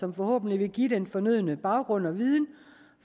som forhåbentlig vil give den fornødne baggrund og viden